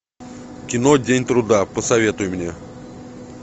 кино день труда посоветуй мне